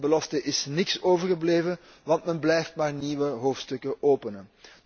Van die belofte is niets overgebleven, want men blijft maar nieuwe hoofdstukken openen.